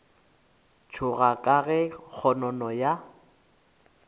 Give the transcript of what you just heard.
tšhoga ka ge kgonono ya